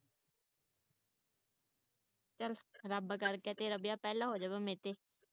ਚੱਲ ਰੱਬ ਕਰਕੇ ਤੇਰਾ ਵਿਆਹ ਪਹਿਲਾਂ ਹੋ ਜਾਵੇ ਮੇਰੇ ਤੇ